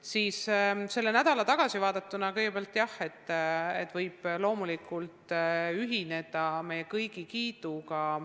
Kui sellele nädalale tagasi vaadata, siis kõigepealt, jah, võib loomulikult ühineda meie kõigi kiidusõnadega.